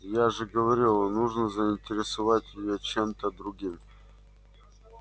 я же говорила нужно заинтересовать её чем-то другим